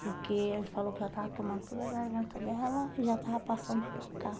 Porque ele falou que já estava tomando toda a garganta dela e já estava passando para cá.